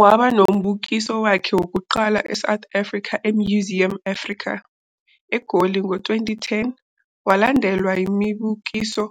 Waba nombukiso wakhe wokuqala eSouth Africa eMuseum Africa, eGoli ngo-2010, walandelwa yimibukiso